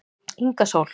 Inga Sól